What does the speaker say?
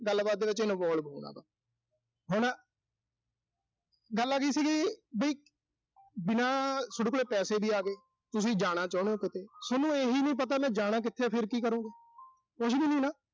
ਗੱਲਬਾਤ ਵਿੱਚ involve ਹੋਣਾ ਵਾ। ਹਨਾ ਗੱਲ ਆਗੀ ਸੀਗੀ ਵੀ, ਬਿਨਾਂ ਸੋੇਡੇ ਕੋਲ ਪੈਸੇ ਵੀ ਆਗੇ। ਤੁਸੀਂ ਜਾਣਾ ਚਾਹੁਣੇ ਓਂ ਕਿਤੇ। ਜੇ ਸੋਨੂੰ ਇਹੀ ਨੀਂ ਪਤਾ ਵੀ ਮੈਂ ਜਾਣਾ ਕਿਥੇ ਆ, ਫਿਰ ਕੀ ਕਰੋਂਗੇ। ਕੁਸ਼ ਵੀ ਨੀਂ ਨਾ।